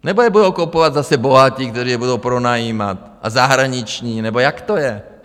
Nebo je budou kupovat zase bohatí, kteří je budou pronajímat, a zahraniční, nebo jak to je?